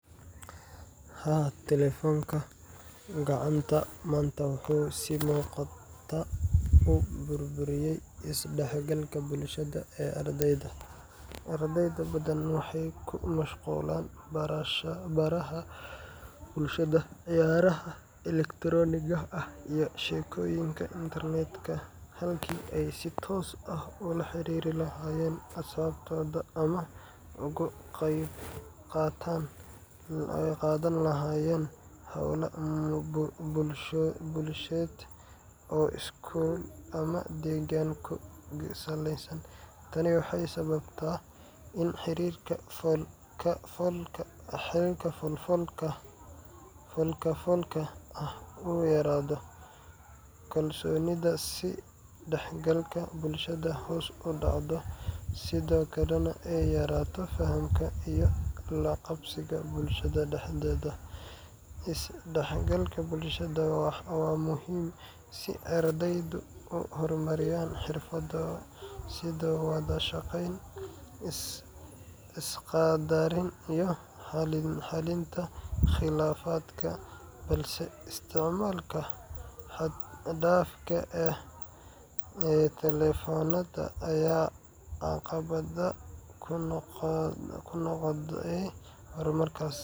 Haa, taleefanka gacanta maanta wuxuu si muuqata u burburiyay is-dhexgalka bulshada ee ardayda. Arday badan waxay ku mashquulaan baraha bulshada, ciyaaraha elektarooniga ah, iyo sheekooyinka internetka halkii ay si toos ah ula xiriiri lahaayeen asxaabtooda ama uga qayb qaadan lahaayeen hawlo bulsheed oo iskuul ama deegaan ku saleysan. Tani waxay sababtay in xiriirka fool-ka-foolka ah uu yaraado, kalsoonidii is dhexgalka bulshada hoos u dhacdo, sidoo kalena ay yaraato fahamka iyo la-qabsiga bulshada dhexdeeda. Is-dhexgalka bulshada waa muhiim si ardaydu u horumariyaan xirfado sida wada-shaqeyn, is-qaddarin, iyo xallinta khilaafaadka – balse isticmaalka xad-dhaafka ah ee taleefannada ayaa caqabad ku noqday horumarkaas.